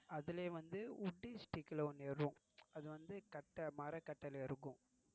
அதுலயே வந்து wood stick ல ஒன்னு அது வந்த மரக்கட்டைல இருக்கும்.